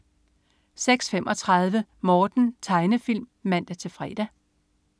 06.35 Morten. Tegnefilm (man-fre)